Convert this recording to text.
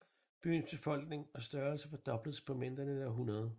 Byens befolkning og størrelse firdobledes på mindre end et århundrede